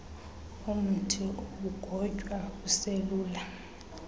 umthi ugotywa uselula